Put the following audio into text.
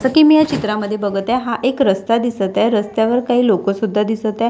असं की मी या चित्रामध्ये बघत आहे हा एक रस्ता दिसत आहे रस्त्यावर काही लोकं सुद्धा दिसत आहे.